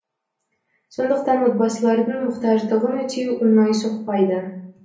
сондықтан отбасылардың мұқтаждығын өтеу оңай соқпайды